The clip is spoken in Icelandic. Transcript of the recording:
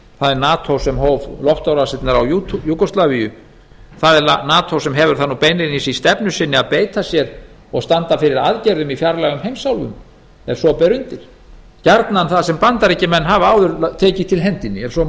það er nato sem hóf loftárásir á júgóslavíu það er nato sem hefur það beinlínis í stefnu sinni að beita sér og standa fyrir aðgerðum í fjarlægum heimsálfum ef svo ber undir gjarnan þar sem bandaríkjamenn hafa áður tekið til hendinni ef svo